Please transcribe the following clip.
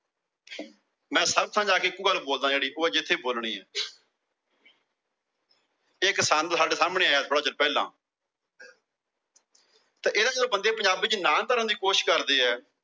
ਮੈ ਸਭ ਥਾਂ ਜਾਕੇ ਇੱਕੋ ਗੱਲ ਬੋਲਦਾ ਜਿਹੜੀ ਉਹ ਜਿੱਥੇ ਬੋਲਣੀ। ਇੱਕ ਛੰਦ ਸਾਡੇ ਸਾਹਮਣੇ ਆਇਆ ਥੋੜਾ ਚਿਰ ਪਹਿਲਾ। ਤੇ ਇਹਦਾ ਜਿਹੜੇ ਬੰਦੇ ਪੰਜਾਬੀ ਚ ਨਾ ਭਰਣ ਕੋਸ਼ਿਸ਼ ਕਰਦੇ ਏ